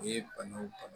U ye banaw bana